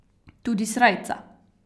Tudi srajca.